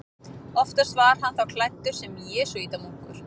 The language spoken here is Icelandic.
Oftast var hann þá klæddur sem jesúítamunkur.